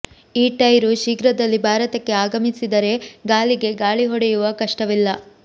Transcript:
ಈ ಟೈರು ಶೀಘ್ರದಲ್ಲಿ ಭಾರತಕ್ಕೆ ಆಗಮಿಸಿದರೆ ಗಾಲಿಗೆ ಗಾಳಿ ಹೊಡೆಯುವ ಕಷ್ಟವಿಲ್ಲ